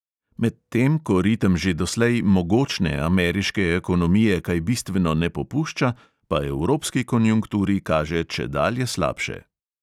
Medtem ko ritem že doslej mogočne ameriške ekonomije kaj bistveno ne popušča, pa evropski konjunkturi kaže čedalje slabše.